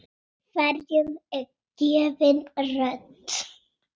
Hverjum er gefin rödd?